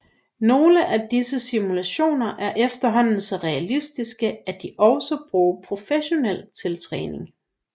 Nogle af disse simulatorer er efterhånden så realistiske at de også bruges professionelt til træning